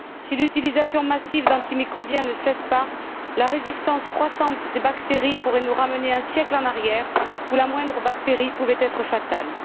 Si l'utilisation massive d'antimicrobiens ne cesse pas, la résistance croissante des bactéries pourrait nous ramener un siècle en arrière, quand la moindre bactérie pouvait être fatale.